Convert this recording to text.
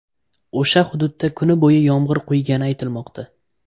O‘sha hududda kuni bo‘yi yomg‘ir quygani aytilmoqda.